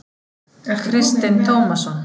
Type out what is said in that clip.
Kristinn Tómasson.